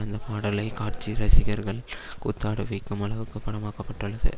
அந்த பாடலை காட்சி ரசிகர்கள் கூத்தாட வைக்கும் அளவுக்கு பானமாக்கப்பட்டுள்ளது